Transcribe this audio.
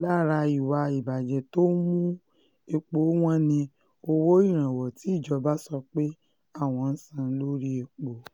lára ìwà ìbàjẹ́ tó ń mú epo wọn ni owó ìrànwọ́ tí ìjọba sọ pé àwọn ń san lórí epo